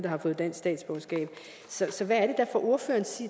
har fået dansk statsborgerskab så hvad er ordføreren